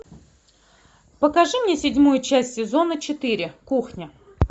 покажи мне седьмую часть сезона четыре кухня